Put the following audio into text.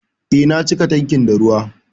Eh, na cika tankin da ruwa